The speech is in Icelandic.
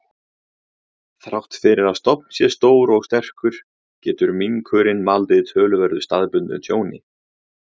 Þrátt fyrir að stofn sé stór og sterkur, getur minkurinn valdið töluverðu staðbundnu tjóni.